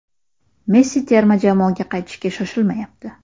Messi terma jamoaga qaytishga shoshilmayapti.